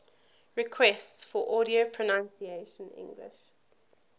requests for audio pronunciation english